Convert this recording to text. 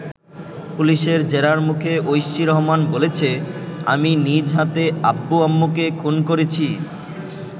পুলিশের জেরার মুখে ঐশী রহমান বলেছে, আমি নিজ হাতে আব্বু-আম্মুকে খুন করেছি।